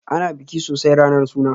Ana biki sosai ranar suna